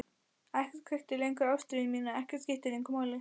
Ekkert kveikti lengur ástríðu mína, ekkert skipti lengur máli.